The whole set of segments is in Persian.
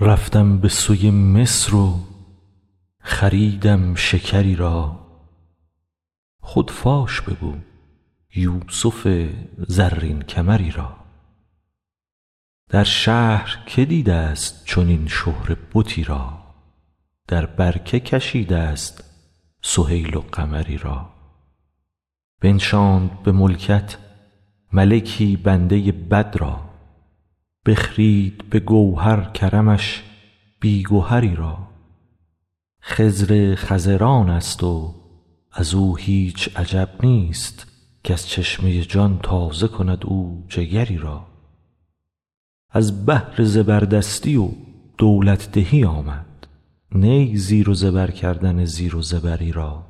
رفتم به سوی مصر و خریدم شکری را خود فاش بگو یوسف زرین کمری را در شهر که دیده ست چنین شهره بتی را در بر که کشیده ست سهیل و قمری را بنشاند به ملکت ملکی بنده بد را بخرید به گوهر کرمش بی گهری را خضر خضرانست و ازو هیچ عجب نیست کز چشمه جان تازه کند او جگری را از بهر زبردستی و دولت دهی آمد نی زیر و زبر کردن زیر و زبری را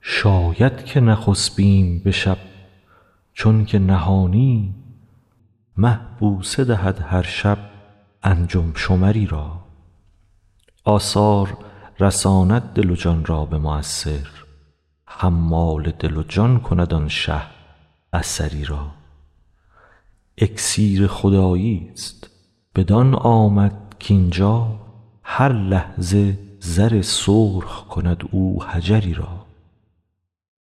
شاید که نخسپیم به شب چون که نهانی مه بوسه دهد هر شب انجم شمری را آثار رساند دل و جان را به مؤثر حمال دل و جان کند آن شه اثری را اکسیر خداییست بدان آمد کاین جا هر لحظه زر سرخ کند او حجری را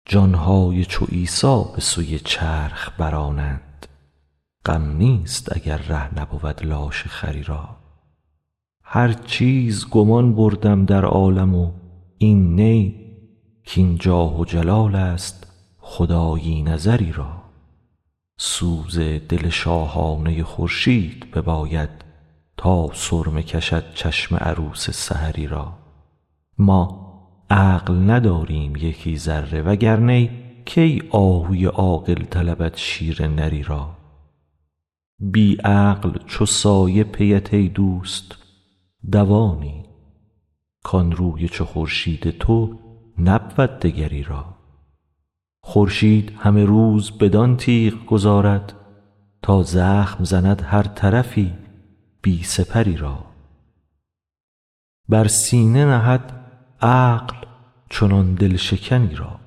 جان های چو عیسی به سوی چرخ برانند غم نیست اگر ره نبود لاشه خری را هر چیز گمان بردم در عالم و این نی کاین جاه و جلالست خدایی نظری را سوز دل شاهانه خورشید بباید تا سرمه کشد چشم عروس سحری را ما عقل نداریم یکی ذره وگر نی کی آهوی عاقل طلبد شیر نری را بی عقل چو سایه پیت ای دوست دوانیم کان روی چو خورشید تو نبود دگری را خورشید همه روز بدان تیغ گذارد تا زخم زند هر طرفی بی سپری را بر سینه نهد عقل چنان دل شکنی را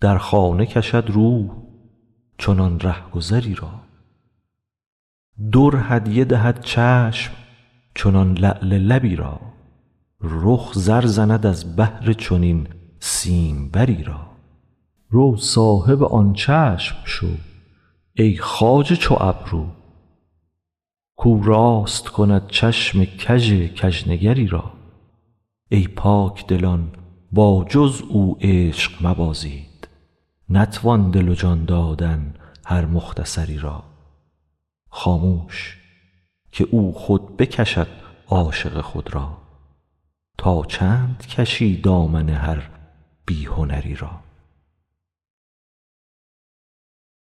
در خانه کشد روح چنان رهگذی را در هدیه دهد چشم چنان لعل لبی را رخ زر زند از بهر چنین سیمبری را رو صاحب آن چشم شو ای خواجه چو ابرو کاو راست کند چشم کژ کژنگری را ای پاک دلان با جز او عشق مبازید نتوان دل و جان دادن هر مختصری را خاموش که او خود بکشد عاشق خود را تا چند کشی دامن هر بی هنری را